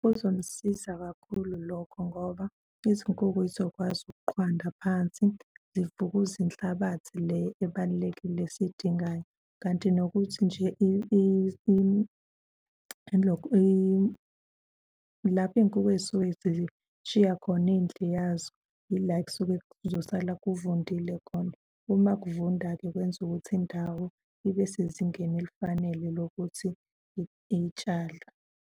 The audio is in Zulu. Kuzomsiza kakhulu lokho ngoba izinkukhu zizokwazi ukuqhwanda phansi zivukuze inhlabathi le ebalulekile esiy'dingayo. Kanti nokuthi nje ilokhu lapho iy'nkukhu ey'suke zishiya khona indle yazo ila kusuke kuzosala kuvundile khona. Uma ukuvunda kwenza ukuthi indawo ibe sezingeni elifanele lokuthi itshalwe.